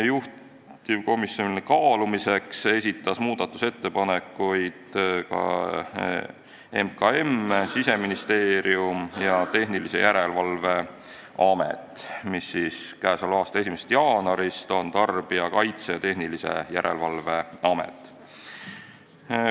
Juhtivkomisjonile kaalumiseks esitasid muudatusettepanekuid ka Majandus- ja Kommunikatsiooniministeerium, Siseministeerium ja Tehnilise Järelevalve Amet, mis k.a 1. jaanuarist on Tarbijakaitse ja Tehnilise Järelevalve Amet.